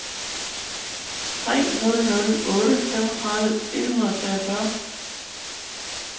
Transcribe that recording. tre nul nul otte femogtredive et hundrede og treogfyrre